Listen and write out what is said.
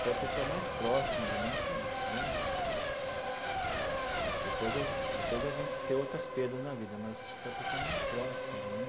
Foi a pessoa mais próxima de mim que né... Depois eu depois eu vim ter outras perdas na vida, mas foi a pessoa mais próxima de mim.